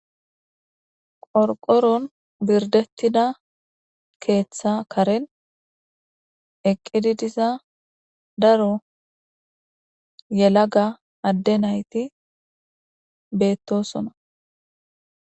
qorqoron birdettida keeththa karen eqqidi diza daro yelaga adde nayti beettosona